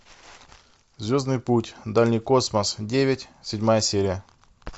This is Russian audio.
звездный путь дальний космос девять седьмая серия